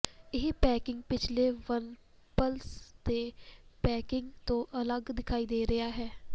ਇਹ ਪੈਕੇਜਿੰਗ ਪਿਛਲੇ ਵਨਪਲੱਸ ਦੇ ਪੈਕੇਜਿੰਗ ਤੋਂ ਅਲੱਗ ਦਿਖਾਈ ਦੇ ਰਿਹਾ ਹੈ